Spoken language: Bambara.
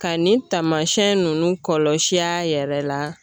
Ka nin taamasiyɛn nunnu kɔlɔsi a yɛrɛ la